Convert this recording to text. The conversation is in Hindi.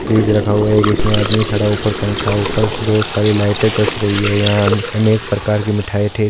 फ्रिज रखा हुआ है एक इसमें आदमी खड़ा है ऊपर पंखा है बहुत सारी लाइट चस गयी है यहाँ अनेक प्रकार की मिठाई --